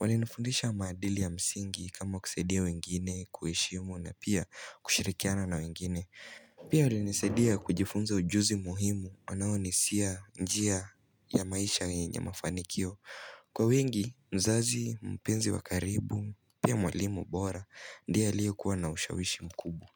Walinifundisha maadili ya msingi kama kusaidia wengine kuheshimu na pia kushirikiana na wengine. Pia walinisaidia kujifunza ujuzi muhimu wanaoni siya njia ya maisha yenye mafanikio. Kwa wengi, mzazi, mpenzi wa karibu, pia mwalimu bora, ndiye aliyekuwa na ushawishi mkubwa.